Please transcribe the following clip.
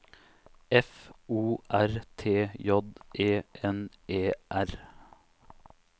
F O R T J E N E R